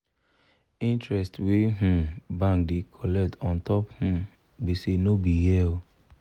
interest wey um bank da colect untop um gbese no be here